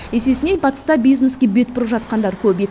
есесіне батыста бизнеске бет бұрып жатқандар көп